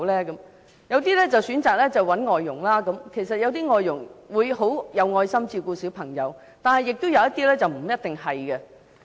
有些父母選擇找外傭幫忙，雖然有些外傭很有愛心照顧小朋友，但有些並不一定是這樣的。